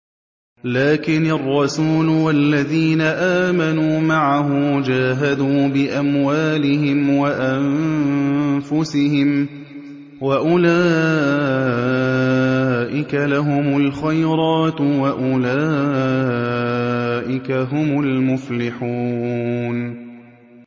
لَٰكِنِ الرَّسُولُ وَالَّذِينَ آمَنُوا مَعَهُ جَاهَدُوا بِأَمْوَالِهِمْ وَأَنفُسِهِمْ ۚ وَأُولَٰئِكَ لَهُمُ الْخَيْرَاتُ ۖ وَأُولَٰئِكَ هُمُ الْمُفْلِحُونَ